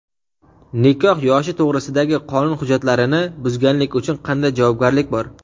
Nikoh yoshi to‘g‘risidagi qonun hujjatlarini buzganlik uchun qanday javobgarlik bor?.